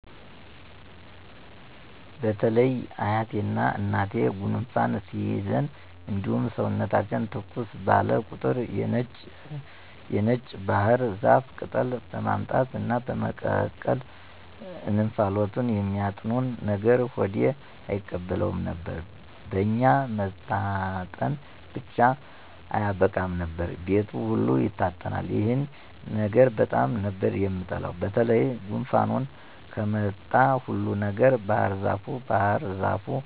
በተለይ አያቴና እናቴ ጉንፋን ሲይዘን እንዲሁም ሰውነታችን ተኮስ ባለ ቁጥር የነጭ ባህር ዛፍ ቅጠል በማምጣት እና በመቀቀል እንፋሎቱን የሚያጥኑን ነገር ሆዴ አይቀበለውም ነበር። በኛ መታጠን ብቻ አያበቃም ነበር፤ ቤቱ ሁሉ ይታጠናል። ይሄን ነገር በጣም ነበር የምጠላው በተለይ ጉንፋን ከመጣ ሁሉ ነገር ባህርዛፍ ባህር ዛፍ